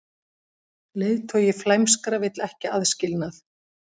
Leiðtogi flæmskra vill ekki aðskilnað